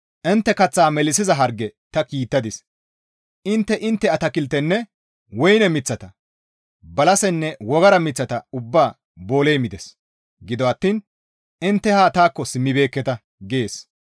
«Intte kaththa melissiza harge ta kiittadis; intte intte atakiltenne woyne miththata, balasenne wogara miththata ubbaa booley mides; gido attiin intte haa taakko simmibeekketa» gees.